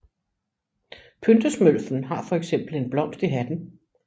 Pyntesmølfen har fx en blomst i hatten